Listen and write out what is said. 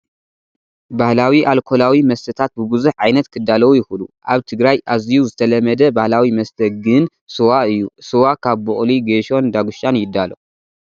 ባህላዊ ኣልኮላዊ መስተታት ብብዙሕ ዓይነት ክዳለዉ ይኽእሉ፡፡ ኣብ ትግራይ ኣዝዩ ዝተለመደ ባህላዊ መስተ ግን ሱዋ እዩ፡፡ ስዋ ካብ ቡቕሊ፣ ጌሾን ዳጉሻን ይዳሎ፡፡